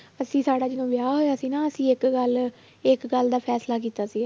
ਅਸੀਂ ਸਾਡਾ ਜਦੋਂ ਵਿਆਹ ਹੋਇਆ ਸੀ ਨਾ ਅਸੀਂ ਇੱਕ ਗੱਲ ਇੱਕ ਗੱਲ ਦਾ ਫੈਸਲਾ ਕੀਤਾ ਸੀ